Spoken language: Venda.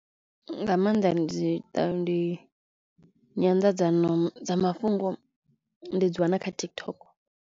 Nga maanḓa ndi ṱa ndi nyanḓadzamafhungo ndi dzi wana kha TikTok.